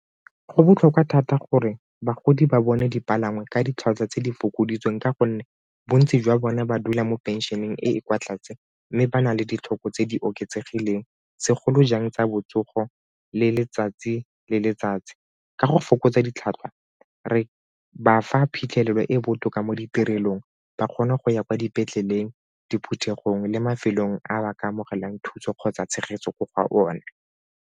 Go botlhokwa thata gore bagodi ba bone dipalangwa ka ditlhwatlhwa tse di fokoditsweng ka gonne bontsi jwa bone ba dula mo pensšeneng e e kwa tlase mme ba na le ditlhoko tse di oketsegileng segolojang tsa botsogo le letsatsi le letsatsi. Ka go fokotsa ditlhatlhwa, re ba fa phitlhelelo e e botoka mo ditirelong ba kgona go ya kwa dipetleleng diphuthegong le mafelong a ba ka amogelang thuso kgotsa tshegetso ko go one.